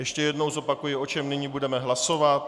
Ještě jednou zopakuji, o čem nyní budeme hlasovat.